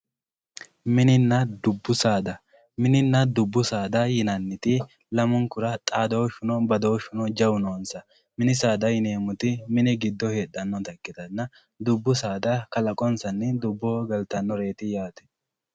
Mininna dubbu saada, mininna dubbu saada yinaniti lamunkura xaadooshuno badooshunno jawu noonsa, mini saada yineemoti mini gido heedhanotta ikkitana dubbu saada kalaqonsanni dubbu giddo galitanoreeti yaate